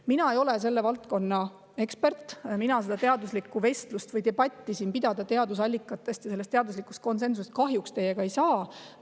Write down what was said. Mina ei ole selle valdkonna ekspert, mina kahjuks ei saa siin seda teaduslikku debatti teadusallikatest ja teaduslikust konsensusest teiega pidada.